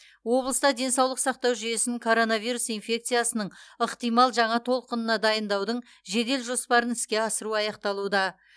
облыста денсаулық сақтау жүйесін коронавирус инфекциясының ықтимал жаңа толқынына дайындаудың жедел жоспарын іске асыру аяқталуда